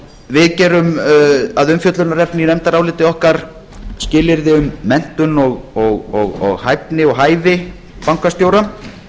við gerum að umfjöllunarefni í nefndaráliti okkar skilyrði um menntun og hæfni og hæfi bankastjóra og hér við